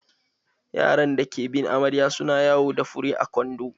Yara da ke bin amarya su na yawo da fure a kwando.